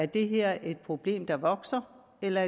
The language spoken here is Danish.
det her er et problem der vokser eller